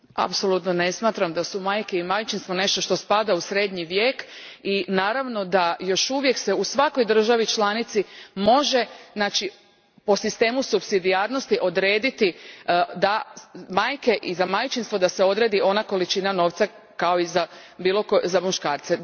Apsolutno ne smatram da su majke i majčinstvo nešto što spada u srednji vijek i naravno da se još uvijek u svakoj državi članici može po sistemu supsidijarnosti odrediti da se za majke i majčinstvo odredi ona količina novca kao i za muškarce.